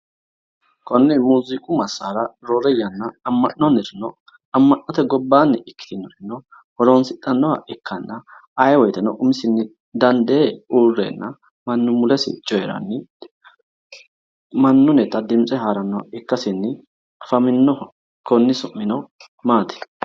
Konne muuziiqu massara roore yanna amma'noyirino amma'note gobbaanni ikkitinorino horoonsi'dhannoha ikkanna ayee woyiteno umisinni dandee uurreenna mannu mulesi coyiranni mannunnita dimintse harrannoha ikkasinni afaminoho. Konni su'mino maati?